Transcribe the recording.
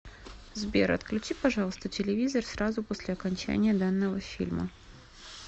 сбер отключи пожалуйста телевизор сразу после окончания данного фильма